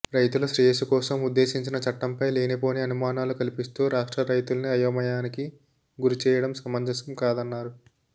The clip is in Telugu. రైతుల శ్రేయస్సు కోసం ఉద్దేశించిన చట్టంపై లేనిపోని అనుమానాలు కల్పిస్తూ రాష్ట్ర రైతుల్ని అయోమయానికి గురిచేయడం సమంజసం కాదన్నారు